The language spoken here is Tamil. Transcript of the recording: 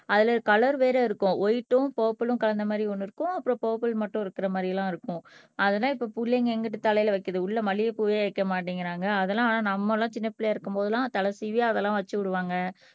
அதுல கலர் வேற இருக்கும் வைட்ம் புர்ப்பில்லும் கலந்த மாறி ஒண்ணு இருக்கும் அப்புறம் புர்ப்பில் மட்டும் இருக்கற மாறியெல்லாம் இருக்கும் அதை இப்ப புள்ளைங்க எங்கிட்டு தலையில வைக்குது உள்ள மல்லிகைப் பூவே வைக்க மாட்டேங்கிறாங்க அதெல்லாம் ஆனா நம்மெல்லாம் சின்ன பிள்ளை இருக்கும் போதெல்லாம் தலை சீவி அதெல்லாம் வச்சு விடுவாங்க